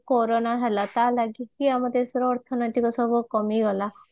ଯୋଉ କୋରୋନା ହେଲା ତା ଲାଗି ବି ଦେଶର ଅର୍ଥନୈତିକ ଅର୍ଥନୈତିକ ସବୁ କମିଗଲା